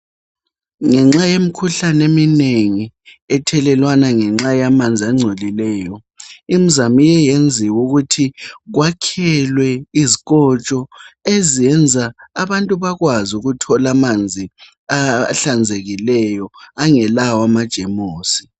Ngenxa yemikhuhlane eminengi ethelelwana ngenxa yamanzi angcolileyo imizamo iye yenziwa ukuthi kwakhelwe izikotsho ezenza abantu bakwazi ukuthola amanzi ahlanzekileyo angelawo amajemusi.